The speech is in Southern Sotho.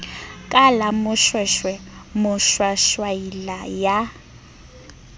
ka la moshweshwe moshwashwaila ya